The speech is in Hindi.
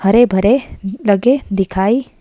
भरे भरे लगे दिखाई --